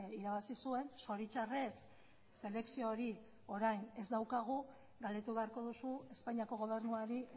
irabazi zuen zoritxarrez selekzio hori orain ez daukagu galdetu beharko duzu espainiako gobernuari